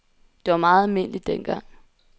Det var meget almindeligt dengang.